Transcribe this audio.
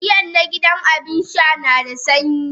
Giyan na gidan Abinsha nada sanyi?